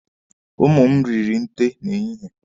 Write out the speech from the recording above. Ụmụ m riri nte n'ehihie.